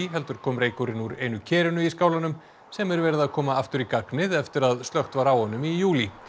heldur kom reykurinn úr einu kerinu í skálanum sem er verið að koma aftur í gagnið eftir að slökkt var á honum í júlí